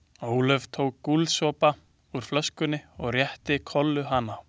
Ólöf tók gúlsopa úr flöskunni og rétti Kollu hana.